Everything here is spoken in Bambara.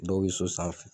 Dɔw bɛ so sanfɛ